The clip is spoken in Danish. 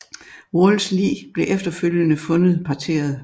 Walls lig blev efterfølgende fundet parteret